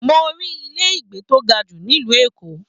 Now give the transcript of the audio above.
Mo rí ilé ìgbé tó ga jù nílu Èkó.